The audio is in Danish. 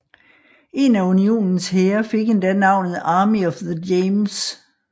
En af Unionens hære fik endda navnet Army of the James